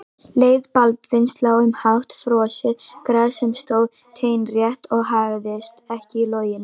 Leið Baldvins lá um hátt frosið gras sem stóð teinrétt og haggaðist ekki í logninu.